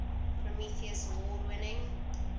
prometheus award winning